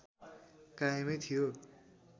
कायमै थियो